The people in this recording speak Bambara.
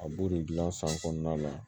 A b'o de gilan san kɔnɔna la